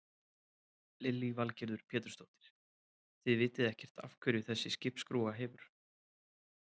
Lillý Valgerður Pétursdóttir: Þið vitið ekkert af hverju þessi skipsskrúfa hefur?